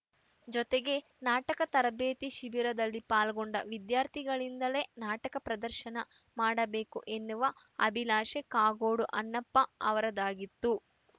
ಜೊತೆಗೆ ನಾಟಕ ತರಬೇತಿ ಶಿಬಿರದಲ್ಲಿ ಪಾಲ್ಗೊಂಡ ವಿದ್ಯಾರ್ಥಿಗಳಿಂದಲೆ ನಾಟಕ ಪ್ರದರ್ಶನ ಮಾಡಬೇಕು ಎನ್ನುವ ಅಭಿಲಾಷೆ ಕಾಗೋಡು ಅಣ್ಣಪ್ಪ ಅವರದ್ದಾಗಿತ್ತು